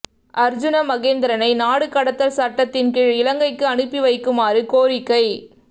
அர்ஜுன மகேந்திரனை நாடு கடத்தல் சட்டத்தின் கீழ் இலங்கைக்கு அனுப்பிவைக்குமாறு கோரிக்கை